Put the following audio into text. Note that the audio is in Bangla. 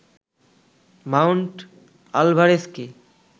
মাউন্ট আলভারেজকে